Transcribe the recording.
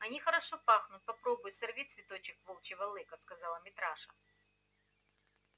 они хорошо пахнут попробуй сорви цветочек волчьего лыка сказал митраша